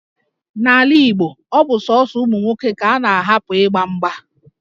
N'ala Igbo, ọ bụ sọsọ ụmụ nwoke ka a na-ahapụ ịgba mgba